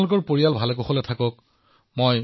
আপোনাৰ পৰিয়াল স্বাস্থ্যৱান হওক